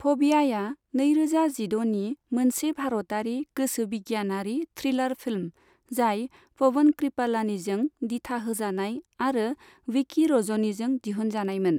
फबिया'या नैरोजा जिद'नि मोनसे भारतारि गोसो बिगियानारि थ्रिलार फिल्म, जाय पवन कृपालानीजों दिथा होजानाय आरो विकी रजनीजों दिहुनजानायमोन।